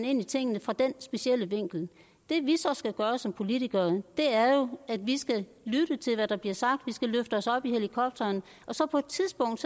ind i tingene fra den specielle vinkel det vi så skal gøre som politikere er jo at vi skal lytte til hvad der bliver sagt vi skal løfte os op i helikopteren og så på et tidspunkt